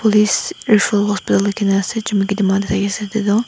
police referral hospital likhina ase chumukedema tae ase edu toh.